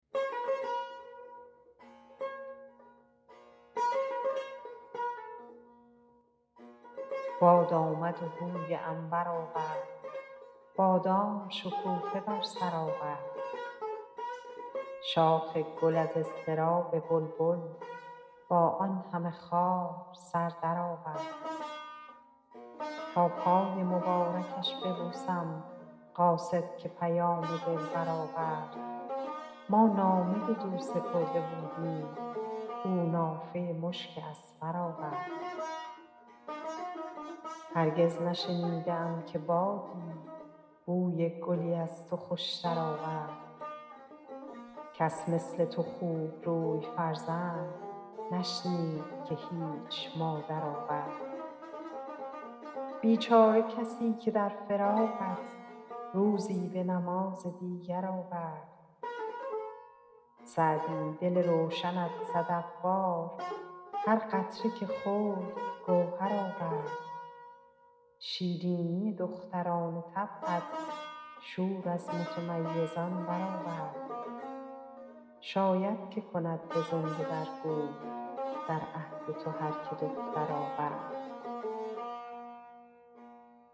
باد آمد و بوی عنبر آورد بادام شکوفه بر سر آورد شاخ گل از اضطراب بلبل با آن همه خار سر درآورد تا پای مبارکش ببوسم قاصد که پیام دلبر آورد ما نامه بدو سپرده بودیم او نافه مشک اذفر آورد هرگز نشنیده ام که بادی بوی گلی از تو خوشتر آورد کس مثل تو خوبروی فرزند نشنید که هیچ مادر آورد بیچاره کسی که در فراقت روزی به نماز دیگر آورد سعدی دل روشنت صدف وار هر قطره که خورد گوهر آورد شیرینی دختران طبعت شور از متمیزان برآورد شاید که کند به زنده در گور در عهد تو هر که دختر آورد